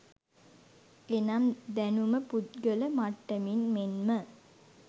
එනම් දැනුම පුද්ගල මට්ටමින් මෙන්ම